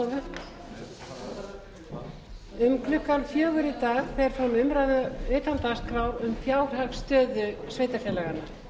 um klukkan fjögur í dag fer fram umræða utan dagskrár um fjárhagsstöðu sveitarfélaganna